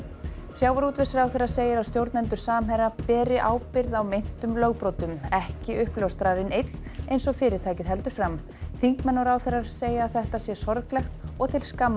sjávarútvegsráðherra segir að stjórnendur Samherja beri ábyrgð á meintum lögbrotum ekki uppljóstrarinn einn eins og fyrirtækið heldur fram þingmenn og ráðherrar segja þetta sé sorglegt og til skammar